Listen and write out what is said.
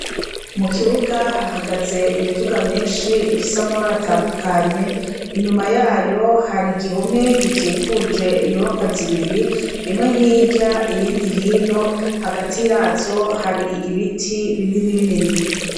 Mu kibuga hahagaze imiduga myinshi ifise amabara atandukanye, inyuma yayo hari igihome gikikuje inyubakwa zibiri, imwe hirya, iyindi hino, kagati yazo hari ibiti binini binini.